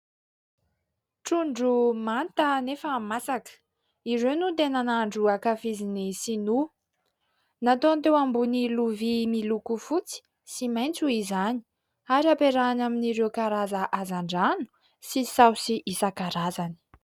Trondro manta nefa masaka, ireo no tena nahandro ankafizin'ny sinoa. Nataony teo ambony lovia miloko fotsy sy maitso izany, ary ampiarahany amin'ireo karazana hazan-drano sy saosy isan-karazany.